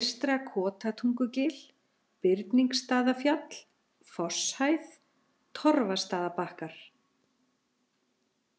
Eystra-Kotatungugil, Birningsstaðafjall, Fosshæð, Torfastaðabakkar